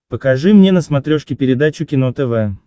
покажи мне на смотрешке передачу кино тв